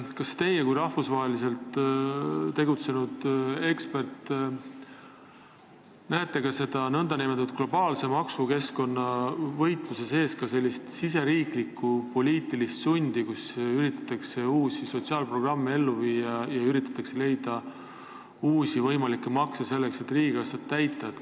Kas teie kui rahvusvaheliselt tegutsev ekspert näete nn globaalse maksukeskkonna võitluse sees ka sellist riigisisest poliitilist sundi, kui üritatakse uusi sotsiaalprogramme ellu viia ja leida uusi võimalikke makse, selleks et riigikassat täita?